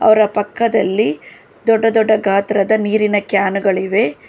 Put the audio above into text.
ಅವ್ರ ಪಕ್ಕದಲ್ಲಿ ಹ್ ದೊಡ್ಡ ದೊಡ್ಡ ಗಾತ್ರದ ನೀರಿನ ಕ್ಯಾನ್ ಗಳಿವೆ.